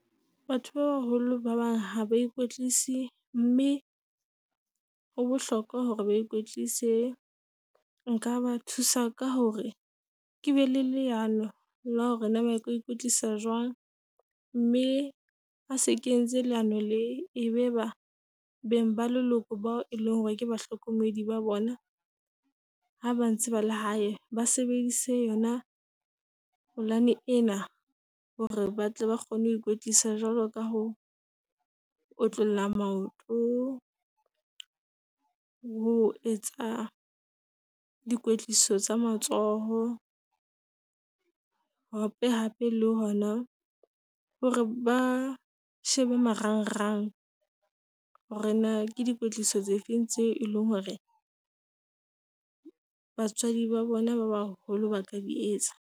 Batho ba baholo ba bang ha ba ikwetlisa, mme ho bohlokwa hore ba ikwetlise. Nka ba thusa ka hore ke be le leano la hore na ba ka ho ikwetlisa jwang. Mme ha se ke etse leano le e be ba bang ba leloko bao e leng hore ke bahlokomedi ba bona, ha ba ntse ba le hae ba sebedise yona polane ena hore ba tle ba kgone ho ikwetlisa. Jwalo ka ho otlolla maoto, ho etsa dikwetliso tsa matsoho. Hape hape le hona hore ba shebe marang rang. Hore na ke di kwetliso tse feng tseo eleng hore batswadi ba bona ba baholo ba ka di etsa.